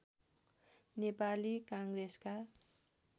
नेपाली काङ्ग्रेसका